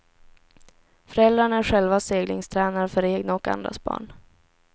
Föräldrarna är själva seglingstränare för egna och andras barn.